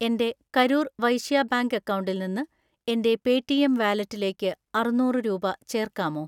എൻ്റെ കരൂർ വൈശ്യാ ബാങ്ക് അക്കൗണ്ടിൽ നിന്ന് എൻ്റെ പേടിഎം വാലറ്റിലേക്ക് അറുന്നൂറ് രൂപ ചേർക്കാമോ?